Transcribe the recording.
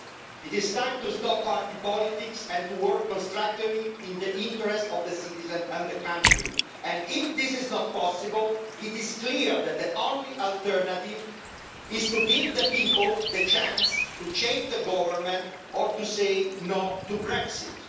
It is time to stop party politics and to work constructively in the interests of citizens and the country and if this is not possible, it is clear that the only alternative is to give the people the chance to change the government or to say no to Brexit.